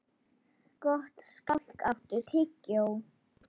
Gottskálk, áttu tyggjó?